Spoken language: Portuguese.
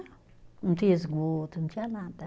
Não tinha esgoto, não tinha nada.